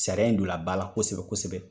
Sariya in don na ba la kosɛbɛ kosɛbɛ.